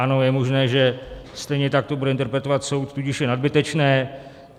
Ano, je možné, že stejně tak to bude interpretovat soud, tudíž je nadbytečné.